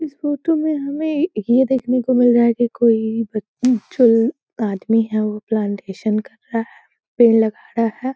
इस फोटो में हमें ये देखने को मिल रहा है की कोई बच जो आदमी है वो प्लांटेशन कर रहा है पेड़ लगा रहा है।